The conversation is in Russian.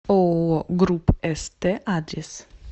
ооо группст адрес